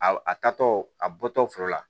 A a tatɔ a bɔtɔ fɔlɔ la